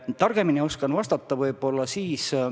Targemini oskan vastata võib-olla natuke hiljem.